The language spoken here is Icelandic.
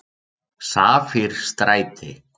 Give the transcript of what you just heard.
Safírstræti